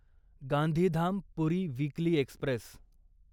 Gandhidham Puri weekly Express